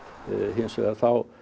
hins vegar